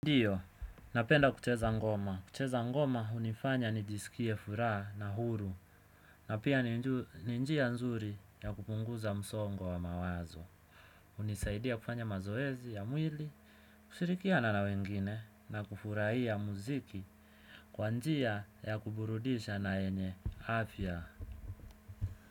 Ndiyo, napenda kucheza ngoma. Kucheza ngoma hunifanya nijisikie furaha na huru. Na pia ni njia nzuri ya kupunguza msongo wa wa mawazo. Hunisaidia kufanya mazoezi ya mwili, kushirikiana na wengine, na kufurahia muziki kwa njia ya kuburudisha na yenye afya.